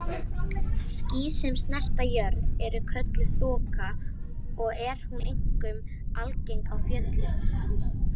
Ský sem snerta jörð eru kölluð þoka og er hún einkum algeng á fjöllum.